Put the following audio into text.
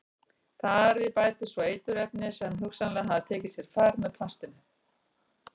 Þar við bætast svo eiturefni sem hugsanlega hafa tekið sér far með plastinu.